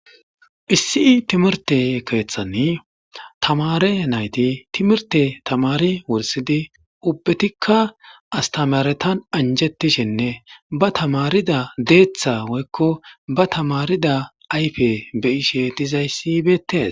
Issi timirte keeththani tamare nayti timirte tamari wursidi ubbetikka astamaretan anjettishinne ba tamarida deeththa woykko ba tamarida ayfe be ishe dizayssi beettes.